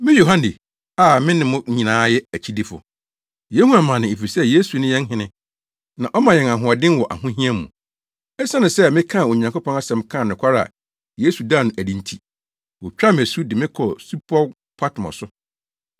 Me Yohane, a me ne mo nyinaa yɛ akyidifo. Yehu amane efisɛ Yesu ne yɛn hene, na ɔma yɛn ahoɔden wɔ ahohia mu. Esiane sɛ mekaa Onyankopɔn asɛm kaa nokware a Yesu daa no adi nti, wotwaa me asu de me kɔɔ Supɔw Patmo so.